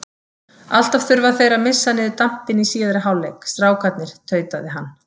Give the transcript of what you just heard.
Alltaf þurfa þeir að missa niður dampinn í síðari hálfleik, strákarnir, tautaði hann.